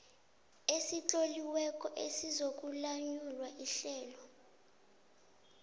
esitloliweko esizokulawula ihlelo